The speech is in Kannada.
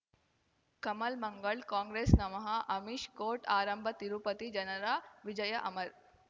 ಕಮಲ್ ಮಂಗಳ್ ಕಾಂಗ್ರೆಸ್ ನಮಃ ಅಮಿಷ್ ಕೋರ್ಟ್ ಆರಂಭ ತಿರುಪತಿ ಜನರ ವಿಜಯ ಅಮರ್